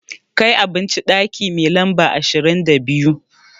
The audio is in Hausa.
Kai abinci ɗaki mai lamba ashirin da biyu!